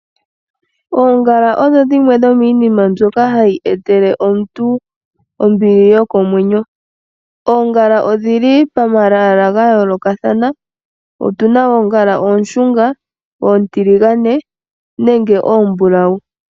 Oongala odho dhimwe dhomiinima mbyoka hayi etele omuntu ombili yokomwenyo. Oongala odhili pamalwaala ga yoolokathana, otuna oongala oonshunga, oontiligane, nenge oombulawu.